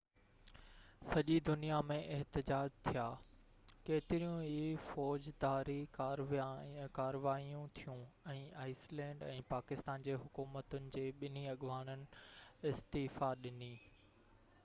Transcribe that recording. سڄي دنيا ۾ احتجاج ٿيا، ڪيتريون ئي فوجداري ڪاروائيون ٿيون ۽ آئيس لينڊ ۽ پاڪستان جي حڪومتن جي ٻنهي اڳواڻن استعيفيٰ ڏني